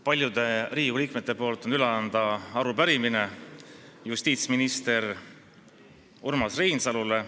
Paljude Riigikogu liikmete nimel on mul üle anda arupärimine justiitsminister Urmas Reinsalule.